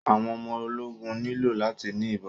Àwọn ọmọ ológun nílò láti ni ìbọn.